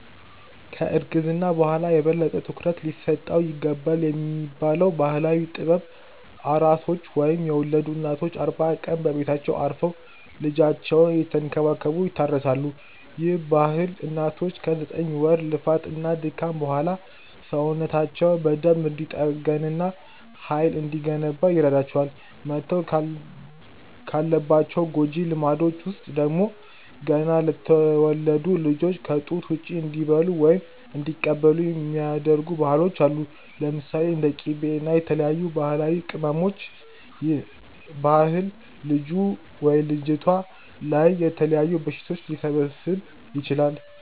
ከ እርግዝና በኋላ የበለጠ ትኩረት ሊሰጠው ይገባልብ የሚባለው ባህላዊ ጥበብ፤ ኣራሶች ወይም የወለዱ እናቶች አርባ ቀን በቤታቸው አርፈው ልጃቸውን እየተንከባከቡ ይታረሳሉ፤ ይህ ባህል እናቶች ከ ዘጠኝ ወር ልፋት እና ድካም በኋላ ሰውነታቸው በደንብ እንዲጠገን እና ሃይል እንዲገነባ ይረዳቸዋል። መተው ካለባቸው ጎጂ ልማዶች ውስጥ ደግሞ፤ ገና ለተወለዱት ልጆች ከ ጡት ውጪ እንዲበሉ ወይም እንዲቀቡ የሚደረጉ ባህሎች አሉ። ለምሳሌ፦ እንደ ቂቤ እና የተለያዩ ባህላዊ ቅመማቅመሞች ይህ ባህል ልጁ/ልጅቷ ላይ የተለያዩ በሽታዎች ሊሰበስብ ይችላል